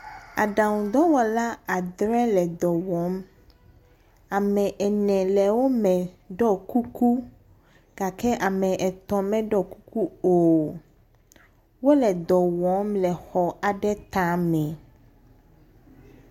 Aɖaŋudɔwɔla adrẽ le dɔ wɔm. Ame ene le wo me ɖɔ kuku gake ame et me ɖɔ kuku o. Wole ɖɔ wɔm le xɔ aɖe ta me.